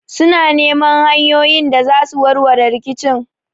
Suna neman hanyoyin da zasu warware rikicin